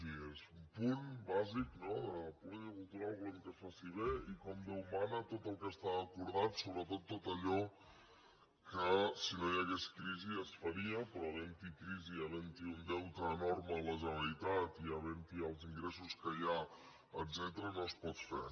doncs sí és un punt bàsic no de la política cultural volem que es faci bé i com déu mana tot el que està acordat sobretot tot allò que si no hi hagués crisi es faria però havent hi crisi havent hi un deute enorme a la generalitat i havent hi els ingressos que hi ha etcètera no es pot fer